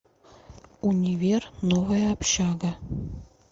универ новая общага